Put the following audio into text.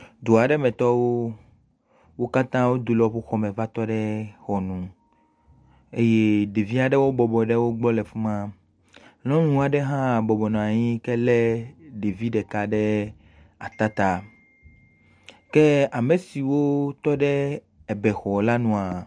Dua aɖe metɔwo. Wo katã wodo le woƒe xɔme va tɔ ɖe xɔnu eye ɖevi aɖewo bɔbɔ ɖe wogbɔ le afi ma, nyɔnu aɖe hã bɔbɔ nɔ anyi yi ke lé ɖevi ɖeka le ata ta. Ke ame siwo tɔ ɖe ɛbɛxɔ la nua.